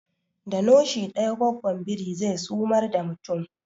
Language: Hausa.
Da noshi daya gwaggon biri zai sumar da mutum